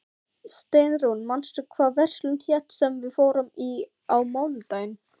Steinrún, manstu hvað verslunin hét sem við fórum í á mánudaginn?